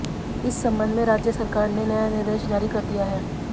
इस संबंध में राज्य सरकार ने नया निर्देश जारी कर दिया है